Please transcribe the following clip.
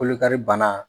Kolokari bana